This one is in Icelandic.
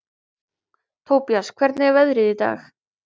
Tobías, hvernig er veðrið í dag?